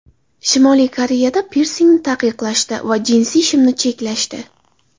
Shimoliy Koreyada pirsingni taqiqlashdi va jinsi shimni cheklashdi.